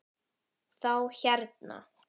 Þá hérna.